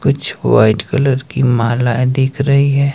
कुछ white colour की मालाए दिख रही है।